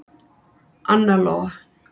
Anna Lóa.